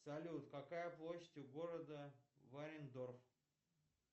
салют какая площадь у города варендорф